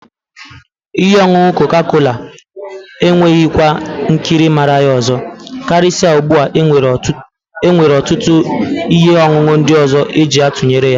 Ihe ọṅụṅụ koka-kola enweghị kwa nkiri màrà ya ọzọ, karịsịa ugbu a e nwere ọtụtụ ihe ọṅụṅụ ndị ọzọ eji atụnyere ya.